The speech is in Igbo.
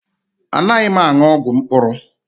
Anaghị m aṅụ ọgwụ mkpụrụ.